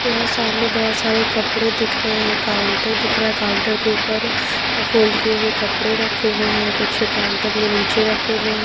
यहां सामने बहुत सारे कपड़े दिख रहे हैं काउंटर दिख रहा है काउंटर के ऊपर फोल्ड किए हुए कपड़े रखे हुए हैं कुछ काउंटर में नीचे रखे हुए हैं।